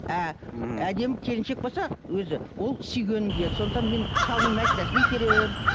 әдемі келіншек болса өзі ол сүйгенін киеді сондықтан мен шалымның машинасын итеремін